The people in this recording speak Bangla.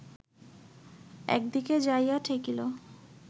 একদিকে যাইয়া ঠেকিল